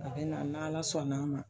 A bɛ na n'Ala sɔnn'a ma